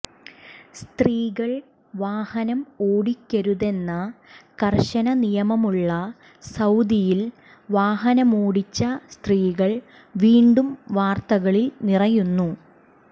സ്ത്രീകൾ വാഹനം ഓടിക്കരുതെന്ന കർശന നിയമമുള്ള സൌദിയിൽ വാഹനമോടിച്ച സ്ത്രീകൾ വീണ്ടും വാർത്തകളിൽ നിറയുന്നു